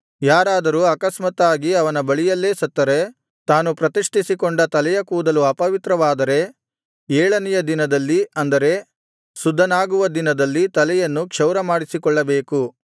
ಯಾರಾದರೂ ಆಕಸ್ಮಾತ್ತಾಗಿ ಅವನ ಬಳಿಯಲ್ಲೇ ಸತ್ತರೆ ತಾನು ಪ್ರತಿಷ್ಠಿಸಿಕೊಂಡ ತಲೆಯ ಕೂದಲು ಅಪವಿತ್ರವಾದರೆ ಏಳನೆಯ ದಿನದಲ್ಲಿ ಅಂದರೆ ಶುದ್ಧನಾಗುವ ದಿನದಲ್ಲಿ ತಲೆಯನ್ನು ಕ್ಷೌರಮಾಡಿಸಿಕೊಳ್ಳಬೇಕು